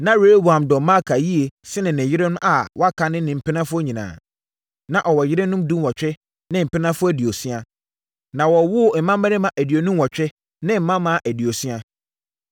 Na Rehoboam dɔ Maaka yie sene ne yerenom a wɔaka ne ne mpenafoɔ nyinaa. Na ɔwɔ yerenom dunwɔtwe ne mpenafoɔ aduosia, na wɔwowoo mmammarima aduonu nwɔtwe ne mmammaa aduosia.